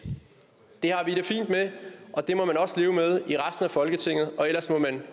det har vi det fint med og det må man også leve med i resten af folketinget ellers må man